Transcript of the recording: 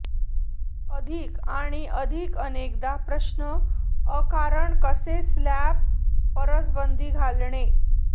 अधिक आणि अधिक अनेकदा प्रश्न अ कारण कसे स्लॅब फरसबंदी घालणे